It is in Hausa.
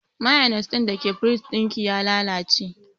Mainis ɗin da ke firij ɗin ki ya lalace